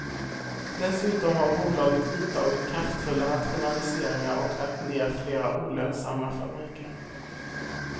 Dessutom har bolaget vidtagit kraftfulla rationaliseringar och lagt ner flera olönsamma fabriker.